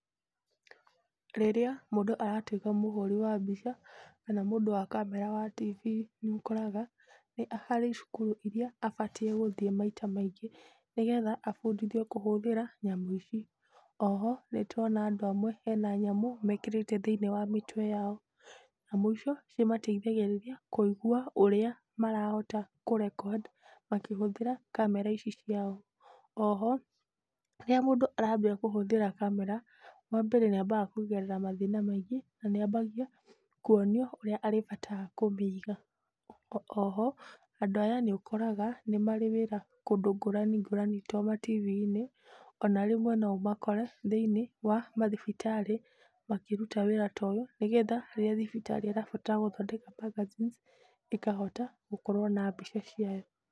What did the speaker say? Rĩrĩa mũndũ aratuĩka mũhũri wa mbica kana mũndũ wa kamera wa tibii, nĩũkoraga harĩ cukuru iria abatie gũthiĩ maita maingĩ nĩgetha abundithio kũhũthĩra nyamũ ici. Oho nĩtũrona andũ amwe mena nyamũ mekĩrĩte thĩinĩ wa mĩtwe yao, nyamũ icio nĩimateithagĩrĩria kũigwa ũrĩa marahota kũrekondi makĩhũthĩra kamera ici ciao. Oho rĩrĩa mũndũ arambĩrĩria kũhũthĩra kamera wambere, nĩambaga kũgerera mathĩna maingĩ nĩambagia kuonio ũrĩa arĩbataraga kũmĩiga. Oho andũ aya nĩũkoraga nĩmarĩ wĩra kũndũ ngũrani ngũrani to matibiinĩ ona rĩmwe no ũmakore thĩinĩ wa mathibitarĩ makĩruta wĩra ta ũyũ nĩgetha rĩrĩa thibitarĩ ĩrabatara kũruta magazine ĩkahota gũkorwo na mbica ciayo.